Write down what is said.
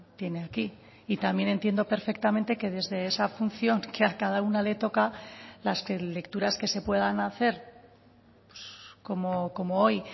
tiene aquí y también entiendo perfectamente que desde esa función que a cada una le toca las lecturas que se puedan hacer como hoy